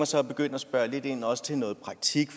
så at begynde at spørge lidt ind til også noget praktisk